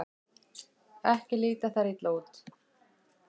Ekki líta þær illa út.